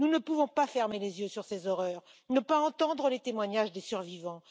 Nous ne pouvons pas fermer les yeux sur ces horreurs, ne pas entendre les témoignages des survivants.